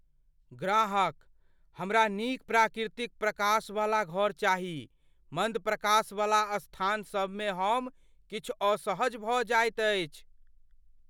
ग्राहकः "हमरा नीक प्राकृतिक प्रकाशवला घर चाही, मन्द प्रकाशवला स्थानसभमे हम किछु असहज भऽ जाइत अछि।"